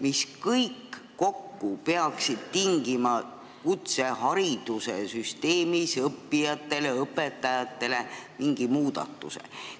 mis kõik kokku peaksid tooma kutseharidussüsteemis õppijatele ja sealsetele õpetajatele mingi muudatuse.